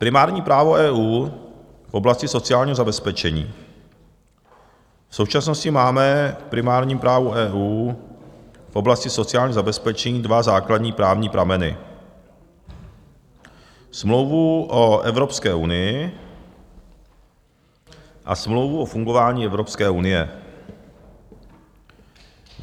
"Primární právo EU v oblasti sociálního zabezpečení - v současnosti máme v primárním právu EU v oblasti sociálního zabezpečení dva základní právní prameny, Smlouvu o Evropské unii a Smlouvu o fungování Evropské unie.